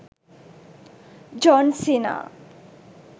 john cena